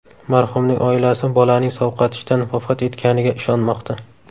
Marhumning oilasi bolaning sovqotishdan vafot etganiga ishonmoqda.